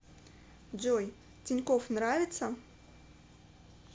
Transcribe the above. джой тинькофф нравится